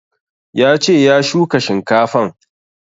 Ya ce ya shuka shinkafan